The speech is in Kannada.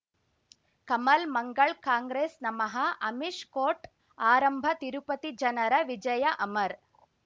ಕಮಲ್ ಮಂಗಳ್ ಕಾಂಗ್ರೆಸ್ ನಮಃ ಅಮಿಷ್ ಕೋರ್ಟ್ ಆರಂಭ ತಿರುಪತಿ ಜನರ ವಿಜಯ ಅಮರ್